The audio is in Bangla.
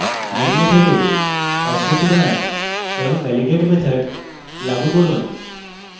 main method এ objects বানান এবং validate method লাগু করুন